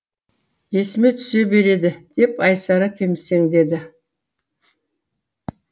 есіме түсе береді деп айсара кемсеңдеді